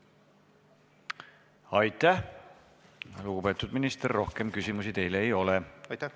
Aitäh, lugupeetud minister, rohkem küsimusi teile ei ole.